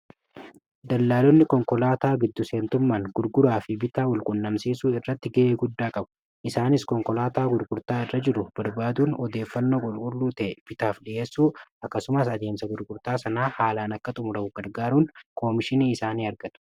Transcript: dallaalonni konkolaataa giddu seentummaan gurguraa fi bitaa walqunnamsiisuu irratti gi'ee guddaa qabu isaanis konkolaataa gurgurtaa irra jiru barbaaduun odeeffannoo qulqulluu ta'e bitaaf dhi'eessuu akkasumaas adeemsa gurgurtaa sanaa haalaan akka xumura'u gargaaruun koomishinii isaanii argatu